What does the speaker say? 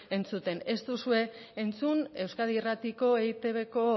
entzuten ez duzue entzun euskadi irratiko eitbko